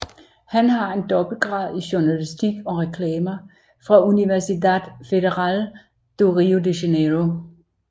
Han har en dobbeltgrad i Journalistik og Reklamer fra Universidade Federal do Rio de Janeiro